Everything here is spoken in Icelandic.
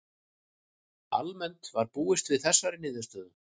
Almennt var búist við þessari niðurstöðu